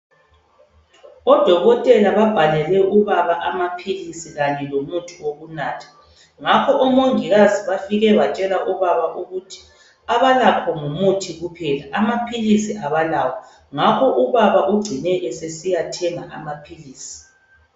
Odokotela babhalele ubaba amaphilisi kanye lomuthi wokunatha, ngakho omongokazi bafike batshela ubaba ukuthi abalakho ngumuthi kuphela, amaphilisi abalawo. Ngakho ubaba ugcine esesiyathenga amaphilisi.